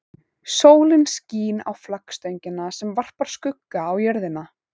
Sólin skín á flaggstöngina sem varpar skugga á jörðina.